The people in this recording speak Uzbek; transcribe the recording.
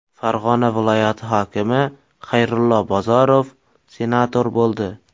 Farg‘ona viloyati hokimi Xayrullo Bozorov senator bo‘ldi.